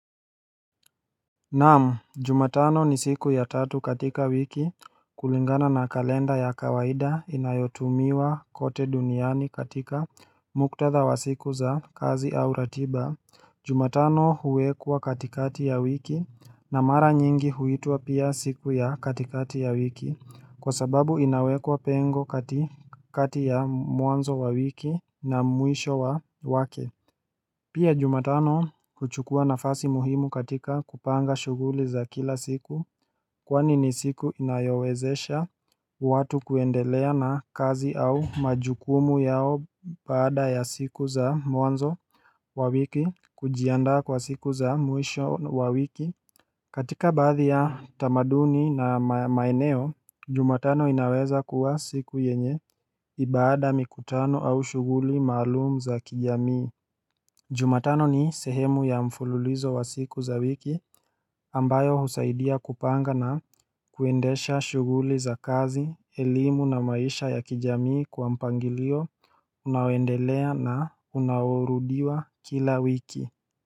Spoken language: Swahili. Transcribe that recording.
Naam, jumatano ni siku ya tatu katika wiki kulingana na kalenda ya kawaida inayotumiwa kote duniani katika muktadha wa siku za kazi au ratiba. Jumatano huwekwa katikati ya wiki na mara nyingi huitwa pia siku ya katikati ya wiki kwa sababu inawekwa pengo kati katika ya mwanzo wa wiki na mwisho wa wake. Pia jumatano huchukua nafasi muhimu katika kupanga shuguli za kila siku kwani ni siku inayowezesha watu kuendelea na kazi au majukumu yao baada ya siku za mwanzo wa wiki kujiandaa kwa siku za mwisho wa wiki katika baadhi ya tamaduni na maeneo, jumatano inaweza kuwa siku yenye baada mikutano au shuguli maalumu za kijamii Jumatano ni sehemu ya mfululizo wa siku za wiki ambayo husaidia kupanga na kuendesha shuguli za kazi, elimu na maisha ya kijamii kwa mpangilio, unaoendelea na unaoworudiwa kila wiki.